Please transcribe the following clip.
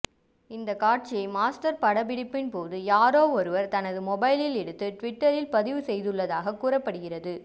இந்த காட்சியை மாஸ்டர் படப்பிடிப்பின்போது யாரோ ஒருவர் தனது மொபைலில் எடுத்து டுவிட்டரில் பதிவு செய்துள்ளதாக கூறப்படுகிறது